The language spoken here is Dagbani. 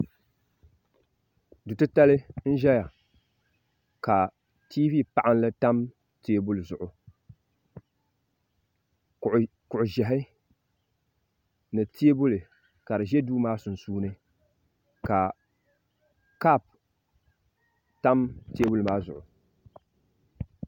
Du titali n ʒɛya ka tiivi paɣanli tam teebuli zuɣu kuɣu ʒiʋhi ni teebuli ka di ʒɛ duu maa sunsuini ka kaap tam jinli maa zuɣu